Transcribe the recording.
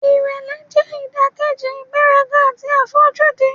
Ìrẹ̀lẹ̀ jẹ́ ìdàkejì ìgbéraga àti àfojúdi.